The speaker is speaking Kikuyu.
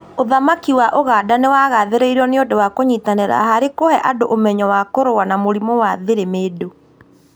Ũthamaki wa Buganda nĩ wagathĩrĩirio nĩ ũndũ wa kũnyitanĩra harĩ kũhe andũ ũmenyo wa kũrũa na mũrimũ wa therimendũ